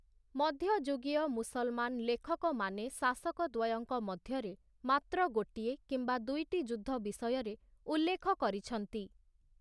ମଧ୍ୟଯୁଗୀୟ ମୁସଲ୍‍ମାନ ଲେଖକମାନେ ଶାସକ ଦ୍ୱୟଙ୍କ ମଧ୍ୟରେ ମାତ୍ର ଗୋଟିଏ କିମ୍ବା ଦୁଇଟି ଯୁଦ୍ଧ ବିଷୟରେ ଉଲ୍ଲେଖ କରିଛନ୍ତି ।